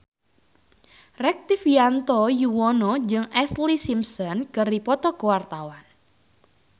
Rektivianto Yoewono jeung Ashlee Simpson keur dipoto ku wartawan